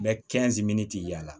Bɛ yaala